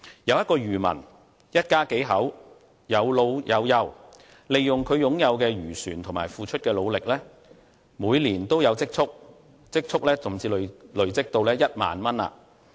有一個漁民，一家數口，有老有幼，利用他擁有的漁船及付出的努力，每年均有積儲，甚至累積到1萬元。